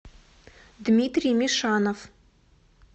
дмитрий мишанов